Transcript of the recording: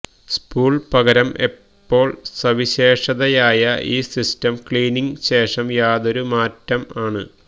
spool പകരം എപ്പോൾ സവിശേഷതയായ ഈ സിസ്റ്റം ക്ലീനിംഗ് ശേഷം യാതൊരു മാറ്റം ആണ്